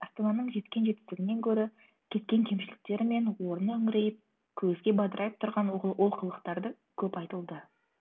астананың жеткен жетістігінен гөрі кеткен кемшіліктері мен орны үңірейіп көзге бадырайып тұрған олқылықтарды көп айтылды